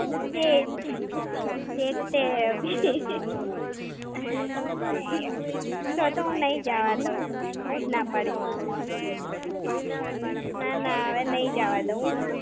દે. देखते है अभी. તો-તો હું નાઇજ આવા દઉં. હું જ ના પાડીશ. ના ના, હવે નઈ જ આવા દઉં.